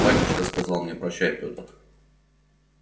батюшка сказал мне прощай пётр